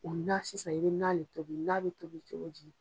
O na sisan i bɛ na de tobi na bɛ tobi cogo ji?